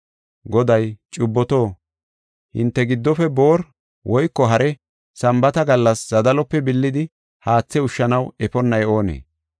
Goday, “Cubboto, hinte giddofe boori woyko hare Sambaata gallas zadalope billidi haathe ushshanaw efonnay oonee?